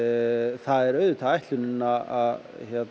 það er auðvitað ætlunin að